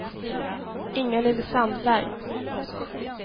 Inga-Lill Sandberg